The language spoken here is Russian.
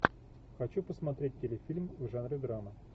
хочу посмотреть телефильм в жанре драма